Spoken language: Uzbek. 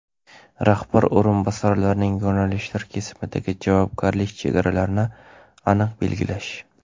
rahbar o‘rinbosarlarining yo‘nalishlar kesimidagi javobgarlik chegaralarini aniq belgilash;.